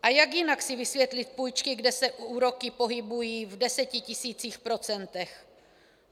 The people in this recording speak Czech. A jak jinak si vysvětlit půjčky, kde se úroky pohybují v desetitisících procentech?